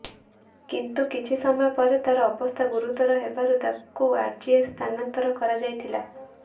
କିନ୍ତୁ କିଛି ସମୟ ପରେ ତାର ଅବସ୍ଥା ଗୁରୁତର ହେବାରୁ ତାକୁ ଆର୍ଜିଏଚ୍ ସ୍ଥାନାନ୍ତର କରାଯାଇଥିଲା